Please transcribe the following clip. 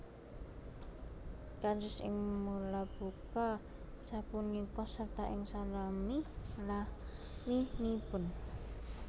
Kados ing mulabuka sapunika sarta ing salami laminipun